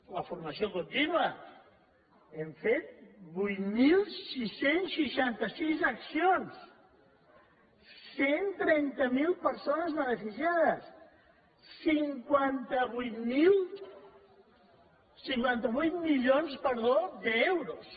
la formació contínua hem fet vuit mil sis cents i seixanta sis accions cent i trenta miler persones beneficiades cinquanta vuit milions d’euros